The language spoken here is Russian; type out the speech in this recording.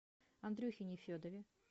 андрюхе нефедове